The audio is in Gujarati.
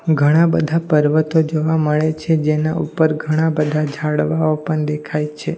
ઘણા બધા પર્વતો જોવા મળે છે જેના ઉપર ઘણા બધા ઝાડવાઓ પણ દેખાય છે.